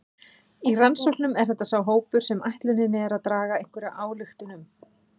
Í rannsóknum er þetta sá hópur sem ætlunin er að draga einhverja ályktun um.